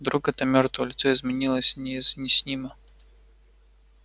вдруг это мёртвое лицо изменилось неизъяснимо